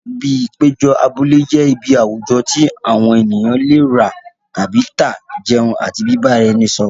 Ibi ìpéjọ abúlé jẹ́ ibi àwùjọ tí àwọn ènìyàn lè rà tàbí tà, jẹun àti bíbá ara ẹni sọ̀rọ̀.